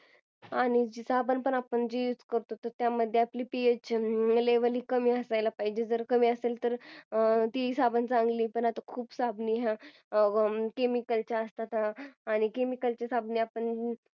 आणि साबण पण आपण जो use करतो त्याच्यामध्ये पीएच levle कमी असायला पाहिजे जर कमी असेल तर तो साबण चांगला असेल आणि खूप साबण आजकालचे cemicale चे असतात आणि chemicals चे साबण आपण